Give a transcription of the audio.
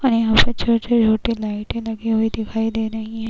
और यहाँ पर छोटे छोटे लाइटे लगी हुई दिखाई दे रही हैं।